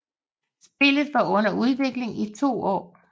Spillet var under udvikling i 2 år